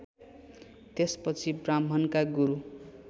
त्यसपछि ब्राह्मणका गुरु